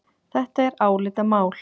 Þetta er álitamál.